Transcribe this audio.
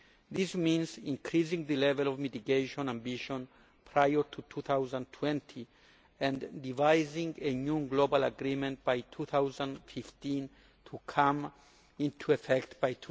This means increasing the level of mitigation ambition prior to 2020, and devising a new global agreement by 2015 to come into effect by